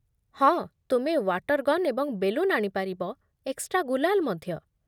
ହଁ, ତୁମେ water gun ଏବଂ ବେଲୁନ୍ ଆଣିପାରିବ, ଏକ୍ସଟ୍ରା ଗୁଲାଲ୍ ମଧ୍ୟ।